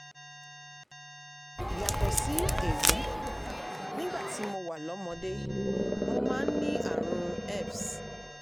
yàtọ̀ sí èyí nígbà tí mo wà lọ́mọdé mo máa ń ní ààrùn herpes